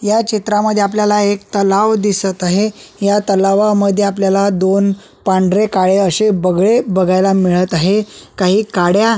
या चित्रामध्ये आपल्याला एक तलाव दिसत आहे या तलावामध्ये आपल्याला दोन पांढरे काळे अशे बगळे बघयला मिळत आहे काही काड्या--